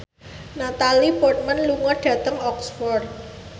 Natalie Portman lunga dhateng Oxford